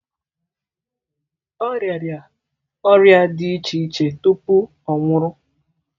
Ọ rịara ọrịa dị iche iche tupu ọ nwụrụ.